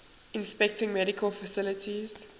inspecting medical facilities